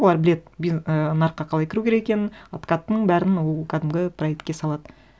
олар біледі і нарыққа қалай кіру керек екенін откаттың бәрін ол кәдімгі проектке салады